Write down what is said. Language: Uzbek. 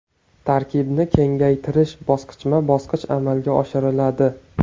Tarkibni kengaytirish bosqichma-bosqich amalga oshiriladi.